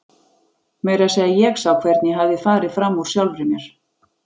Meira að segja ég sá hvernig ég hafði farið fram úr sjálfri mér.